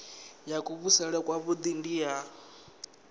ya kuvhusele kwavhui ndi ya